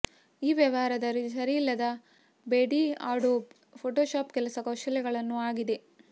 ಈ ವ್ಯವಹಾರದಲ್ಲಿ ಸರಿಯಿಲ್ಲದ ಬೇಡಿ ಅಡೋಬ್ ಫೋಟೊಶಾಪ್ ಕೆಲಸ ಕೌಶಲಗಳನ್ನು ಆಗಿದೆ